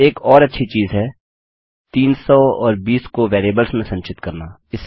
एक और अच्छी चीज़ है 300 और 20 को वेरिएबल्स में संचित करना